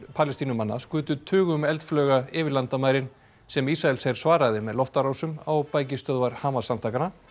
Palestínumanna skutu tugum eldflauga yfir landamærin sem Ísraelsher svaraði með loftárásum á bækistöðvar Hamas samtakanna